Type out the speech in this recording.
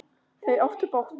Þau áttu bágt!